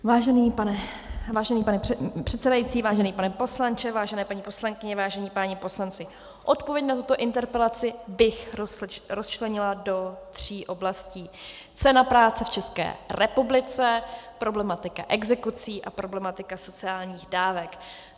Vážený pane předsedající, vážený pane poslanče, vážené paní poslankyně, vážení páni poslanci, odpověď na tuto interpelaci bych rozčlenila do tří oblastí: cena práce v České republice, problematika exekucí a problematika sociálních dávek.